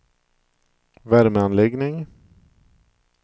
värmeanläggning